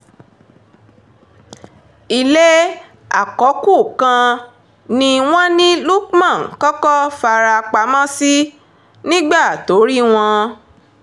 ilé àkọ́kù kan ni wọ́n ní lukman kọ́kọ́ fara pamọ́ sí nígbà tó rí wọn